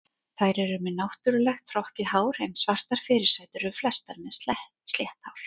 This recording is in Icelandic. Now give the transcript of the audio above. Þær eru með náttúrulegt hrokkið hár, en svartar fyrirsætur eru flestar með slétt hár.